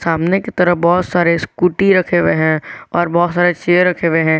सामने की तरफ बहुत सारे स्कूटी रखे हुए हैं और बहुत सारे चेयर रखे हुए हैं।